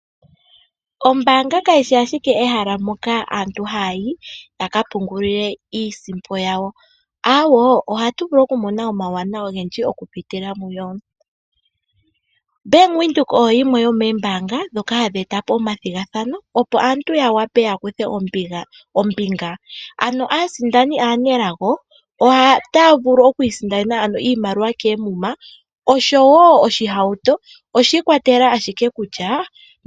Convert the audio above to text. Ombaanga kayi shi ashike ehala moka aantu haayi ya ka pungulile mo iisimpo yawo, aawo ohatu vulu okumona mo omauwanawa ogendji okupitila muyo. bank Windhoek oyo yimwe yomoombanga ndhoka hadhi eta po omathigathano opo aantu yya kuthe ombinga ano aasindani aalnelago otaa vulu okusindana oshima koomums ma osho wo oshihaautu. Oshi ikwatelela ashike kutya.